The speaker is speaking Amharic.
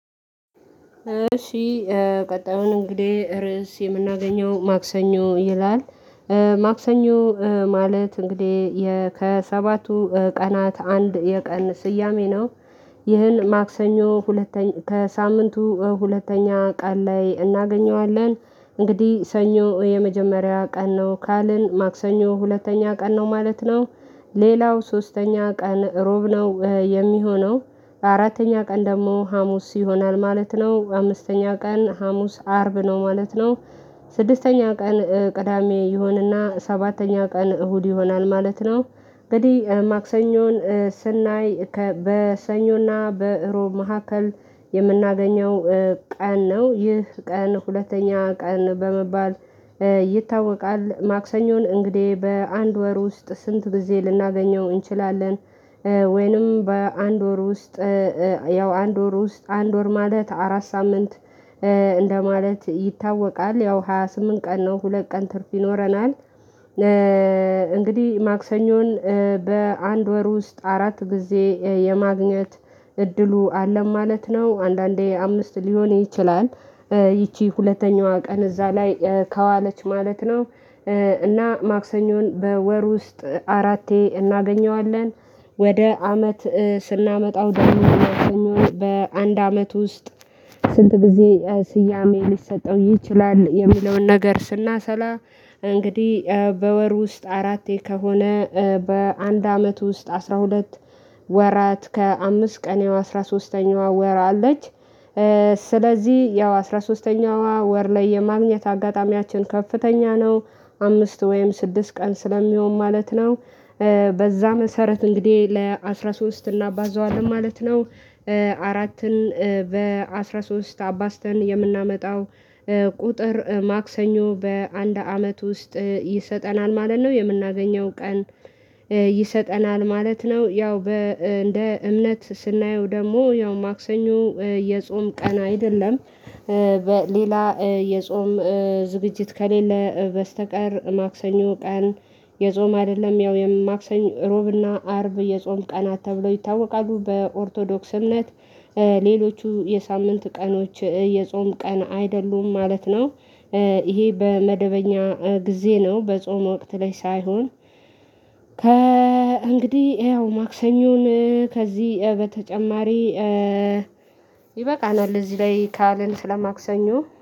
እሺ ቀጣዩን እንግዲህ ርዕስ የምናገኘው ማክሰኞ ይላል ማክሰኞ ማለት እንግዲህ ከሰባቱ ቀናት አንድ የቀን ስያሜ ነው። ይህን ማክሰኞ ሁለተኛ ከሳምንቱ ሁለተኛ ቀን ላይ እናገኘዋለን። እንግዲህ ሰኞ የመጀመሪያ ቀን ነው ካለን ማክሰኞ ሁለተኛ ቀን ነው ማለት ነው። ሌላው ሶስተኛ ቀን እሮብ ነው የሚሆነው። አራተኛ ቀን ደግሞ ሀሙስ ይሆናል ማለት ነው። አምስተኛ ቀን ሀሙስ አርብ ነው ማለት ነው። ስድስተኛ ቀን ቅዳሜ ይሁንና ሰባተኛ ቀን እሁድ ይሆናል ማለት ነው። እንግዲህ ማክሰኞን ስናይ ከበሰኞና በእሮብ መካከል የምናገኘው ቀን ነው። ይህ ቀን ሁለተኛ ቀን በመባል ይታወቃል ማክሰኞን እንግዲህ በአንድ ወር ውስጥ ስንት ጊዜ ልናገኘው እንችላለን ወይንም በአንድ ወር ውስጥ ያው አንድ ወር ውስጥ አንድ ወር ማለት አራት ሳምንት እንደማለት ይታወቃል። ያው ሃያ ስምንት ቀን ነው ሁለት ቀን ትርፍ ይኖረናል። እንግዲህ ማክሰኞን በአንድ ወር ውስጥ አራት ጊዜ የማግኘት እድሉ አለን ማለት ነው አንዳንዴ አምስት ሊሆን ይችላል። ይቺ ሁለተኛዋ ቀን እዛ ላይ ከዋለች ማለት ነው። እና ማክሰኞን በወር ውስጥ አራቴ እናገኘዋለን። ወደ አመት ስናመጣው ዳንኤል አርሰኞ በአንድ አመት ውስጥ ስንት ጊዜ ስያሜ ሊሰጠው ይችላል የሚለውን ነገር ስናሰላ እንግዲህ በወር ውስጥ አራቴ ከሆነ በአንድ አመት ውስጥ አስራ ሁለት ወራት ከአምስት ቀን አስራ ሶስተኛዋ ወር አለች። ስለዚህ ያው አስራ ሶስተኛዋ ወር ላይ የማግኘት አጋጣሚያችን ከፍተኛ ነው። አምስት ወይም ስድስት ቀን ስለሚሆን ማለት ነው። በዛ መሰረት እንግዲህ ለአስራ ሶስት እናባዛዋለን ማለት ነው። አራትን በአስራ ሶስት አባዝተን የምናመጣው ቁጥር ማክሰኞ በአንድ አመት ውስጥ ይሰጠናል ማለት ነው። የምናገኘው ቀን ይሰጠናል ማለት ነው ያው በ እንደ እምነት ስናየው ደግሞ ያው ማክሰኞ የጾም ቀና አይደለም። በሌላ የጾም ዝግጅት ከሌለ በስተቀር ማክሰኞ ቀን የጾም አይደለም ያው የማክሰኞ ሮብና አርብ የጾም ቀናት ተብሎ ይታወቃሉ በኦርቶዶክስ አምነት። ሌሎቹ የሳምንት ቀኖች የጾም ቀን አይደሉም ማለት ነው። ይሄ በመደበኛ ጊዜ ነው በጾም ወቅት ላይ ሳይሆን ከ እንግዲህ ያው ማክሰኞን ከዚህ በተጨማሪ ይበቃናል እዚህ ላይ ካልን ስለማክሰኞ